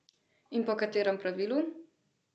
In po katerem pravilu?